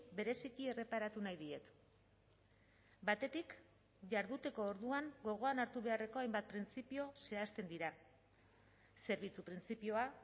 bereziki erreparatu nahi diet batetik jarduteko orduan gogoan hartu beharreko hainbat printzipio zehazten dira zerbitzu printzipioa